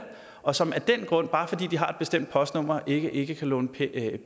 og som af den grund bare fordi de har et bestemt postnummer ikke ikke kan låne